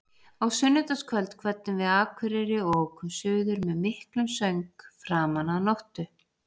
Á sunnudagskvöld kvöddum við Akureyri og ókum suður með miklum söng framan af nóttu.